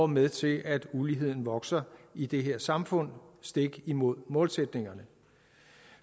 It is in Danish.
med til at uligheden vokser i det her samfund stik imod målsætningerne